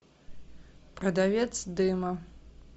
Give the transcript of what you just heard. продавец дыма